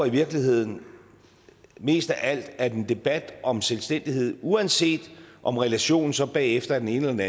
i virkeligheden mest af alt håber at en debat om selvstændighed uanset om relationen så bagefter er den ene eller